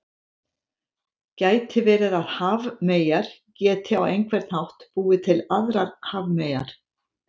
Gæti verið að hafmeyjar geti á einhvern hátt búið til aðrar hafmeyjar?